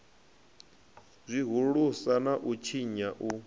zwihulusa na u tshinya u